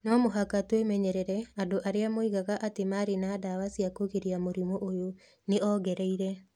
No mũhaka twĩmenyerere andũ arĩa moigaga atĩ marĩ na ndawa cia kũgiria mũrimũ ũyũ.", nĩ ongereire.